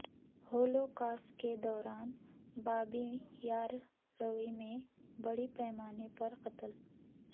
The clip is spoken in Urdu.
ہولوکاسٹ کے دوران بابی یار روی میں بڑے پیمانے پر قتل